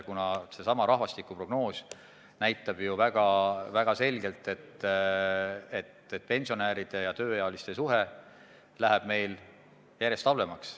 Rahvastikuprognoos näitab ju väga selgelt, et pensionäride ja tööealiste suhe läheb meil järjest halvemaks.